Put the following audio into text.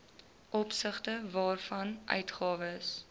opsigte waarvan uitgawes